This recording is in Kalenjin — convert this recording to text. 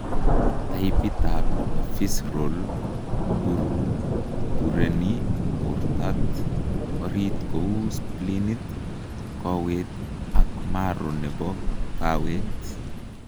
Taipit ab visceral koburbureni bortab orit kouu spleenit, koowet, ak marrow nebo kaweet